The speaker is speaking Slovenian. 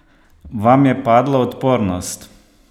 Vam je padla odpornost?